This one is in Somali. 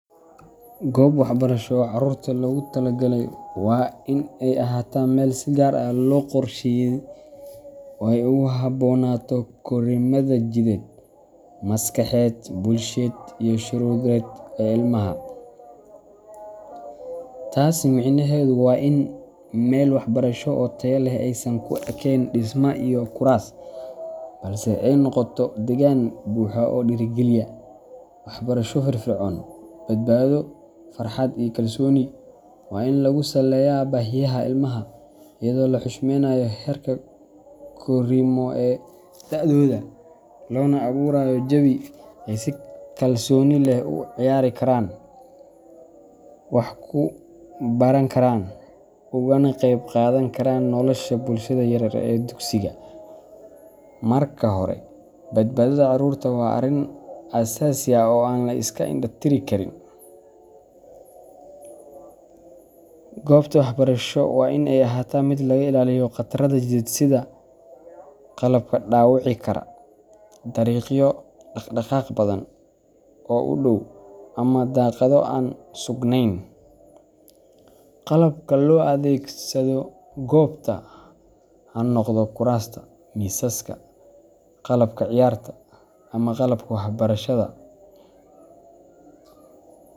Goob waxbarasho oo carruurta loogu talagalay waa in ay ahaataa meel si gaar ah loo qorsheeyay si ay ugu habboonaato korriimada jidheed, maskaxeed, bulsheed, iyo shucuureed ee ilmaha. Taas micnaheedu waa in meel waxbarasho oo tayo leh aysan ku ekeyn dhisme iyo kuraas, balse ay noqoto deegaan buuxa oo dhiirrigeliya waxbarasho firfircoon, badbaado, farxad, iyo kalsooni. Waa in lagu saleeyaa baahiyaha ilmaha, iyadoo la xushmeeynayo heerka korriimo ee da’dooda, loona abuurayo jawi ay si kalsooni leh ugu ciyaari karaan, wax ku baran karaan, ugana qayb qaadan karaan nolosha bulshada yaryar ee dugsiga. Marka hore, badbaadada carruurta waa arrin aasaasi ah oo aan la iska indha tiri karin. Goobta waxbarasho waa in ay ahaataa mid laga ilaaliyo khataraha jidheed sida qalabka dhaawici kara, dariiqyo dhaqdhaqaaq badan oo u dhow, ama daaqado aan suganayn. Qalabka loo adeegsado goobta ha noqdo kuraasta, miisaska, qalabka ciyaarta, ama qalabka waxbarashada.